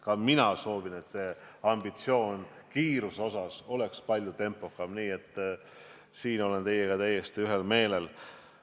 Ka mina soovin, et oleksime kiiruse osas palju ambitsioonikamad, nii et selles asjas olen teiega täiesti ühel meelel.